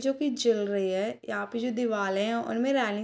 जो की जल रही है यहाँ पे जो दीवाले है उनमें रेलिंग्स --